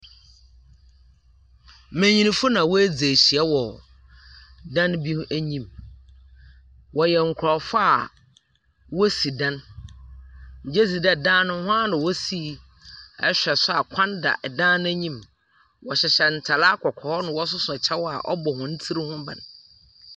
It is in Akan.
Mbenyinfo na woedzi ehyia wɔ dan bi enyim. Wɔhyɛ nkorɔfo a wosi dan. Migyedzi dɛ dan no hɔn ara na wosii. Ihwɛ nso a kwan da dan no enyim. Wɔhyehyɛ ntar akɔkɔɔ na wɔsoso kyɛw a ɔbɔ hɔn tsir ho ban.